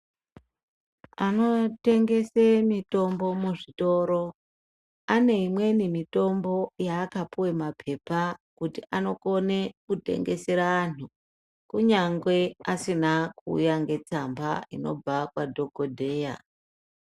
Anotengesa mitombo muzvitoro, ane imweni mitombo yaakapuwa mapepa kuti anokona kutengesera antu kunyangwe asina kuuya netsamba inobva kwadhokodheya.